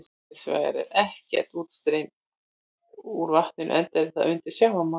Hins vegar er ekkert útstreymi úr vatninu enda er það undir sjávarmáli.